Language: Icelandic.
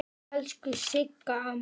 Elsku Sigga amma.